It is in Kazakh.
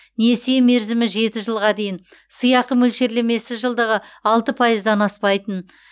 несие мерзімі жеті жылға дейін сыйақы мөлшерлемесі жылдығы алты пайыздан аспайтын